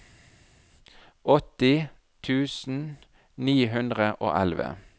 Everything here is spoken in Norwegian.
åtti tusen ni hundre og elleve